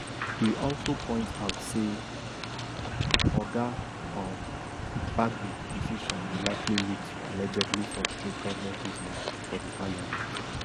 e also point out say oga um bagbin decision go likely lead to allegedly frustrate govment business for di parliament